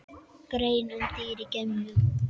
Grein um dýr í geimnum